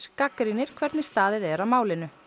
gagnrýnir hvernig staðið er að málinu